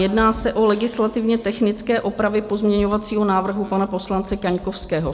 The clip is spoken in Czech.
Jedná se o legislativně technické opravy pozměňovacího návrhu pan poslance Kaňkovského.